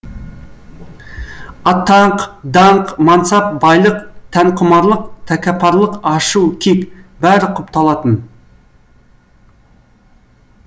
атақ даңқ мансап байлық тәнқұмарлық тәккапарлық ашу кек бәрі құпталатын